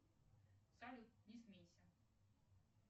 салют не смейся